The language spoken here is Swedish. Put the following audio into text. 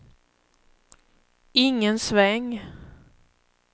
ingen sväng